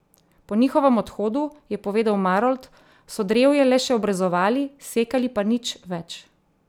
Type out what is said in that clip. Po njihovem odhodu, je povedal Marolt, so drevje le še obrezovali, sekali pa nič več.